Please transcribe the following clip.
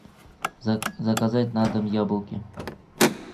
заказать на дом яблоки